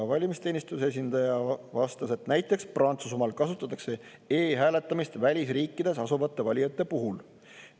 Valimisteenistuse esindaja vastas, et näiteks Prantsusmaal kasutatakse e-hääletamist välisriikides asuvate valijate puhul.